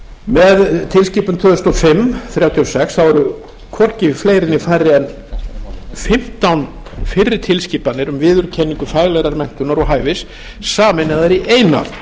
með tilskipun tvö þúsund og fimm þrjátíu og sex e b þá eru hvorki fleiri eða færri en fimmtán fyrri tilskipanir um viðurkenningu faglegrar menntunar og hæfis sameinaðar í eina